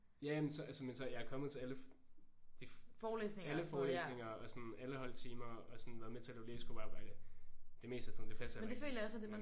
Ja ja men så altså men så jeg er kommet til alle alle forelæsninger og sådan alle holdtimerne og sådan været med til at lave læsegruppearbejde det meste af tiden det passer jo ikke